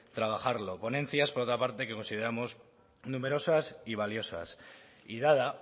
trabajarlo ponencias por otra parte que consideramos numerosas y valiosas y dada